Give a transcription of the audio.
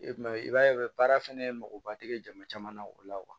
I ma ye i b'a ye u bɛ baara fɛnɛ makoba tɛ kɛ jama caman na o la